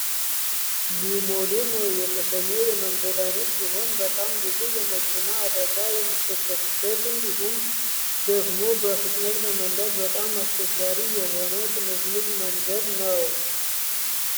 ሊማሊሞ የተሰኘው የመንገድ አይነት ሲሆን በጣም ብዙ የመኪና አደጋ የሚከሰትበት እንዲሁም ደግሞ በፍጥነት ለመንዳት በጣም አስቸጋሪ የሆነ ጥምዝምዝ መንገድ ነው።